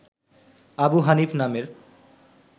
আবু হানিফ নামের